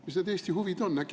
Mis need Eesti huvid on?